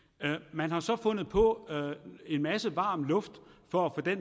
man har så fundet på en masse varm luft for at